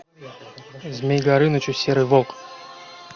змей горыныч и серый волк